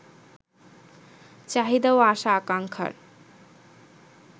চাহিদা ও আশা-আকাঙ্ক্ষার